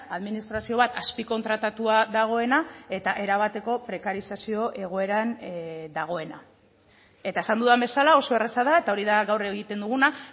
administrazio bat azpikontratatua dagoena eta erabateko prekarizazio egoeran dagoena eta esan dudan bezala oso erraza da eta hori da gaur egiten duguna